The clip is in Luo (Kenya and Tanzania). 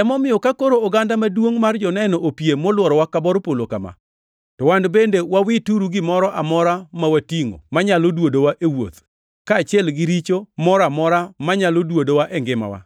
Emomiyo ka koro oganda maduongʼ mar joneno opie molworowa ka bor polo kama, to wan bende wawituru gimoro amora ma watingʼo manyalo duodowa e wuoth, kaachiel gi richo mora amora manyalo duodowa e ngimawa,